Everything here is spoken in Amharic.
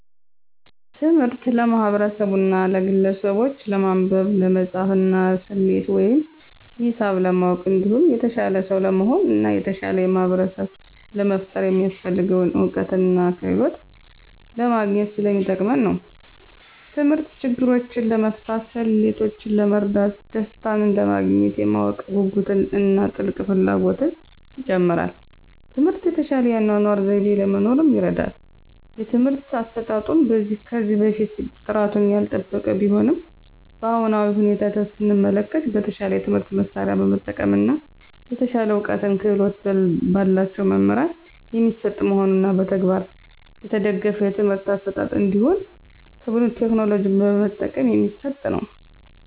ትምህርት ለማህበርሰቡና ለግለሰቡች ለማንበብ፣ ለመፃፍና፣ ሰሌት ወይም ሂሳብ ለማወቅ እንዲሁም የተሻለ ሰው ለመሆን እና የተሻለ ማህበርሰብ ለመፍጠር የሚያሰፍልገውን እውቀትና ክህሎት ለማግኝት ሰለሚጠቅም ነው። ተምህርት ችግሮችን ለመፍታት፣ ሌሎችን ለመርዳት፣ ደሰታንለማግኘት፣ የማወቅ ጉጉትን እና ጥልቅ ፍላጎትን ይጨምራል። ትምህርት የተሻለ የአኗኗር ዘይቤ ለመኖር ይርዳል። የትምህርት አሰጣጡም ከዚህ በፊት ጥራቱን ያልጠበቀ ቢሆንም በአሁናዊ ሁኔታ ሰመለከት በተሻለ የትምህርት መሳርያ በመጠቀም እና የተሻለ እውቀትና ክህሎት በላቸው መምህራን የሚሰጥ መሆኑንና በተግባር የተደገፍ የትምህርት አሰጣጥ እንዲሁም ቴክኖሎጂ በመጠቀም የሚሰጥ ነው።